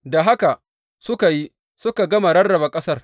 Da haka suka yi suka gama rarraba ƙasar.